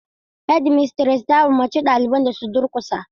Hedimistires ta umurci ɗaliban da su durkusa.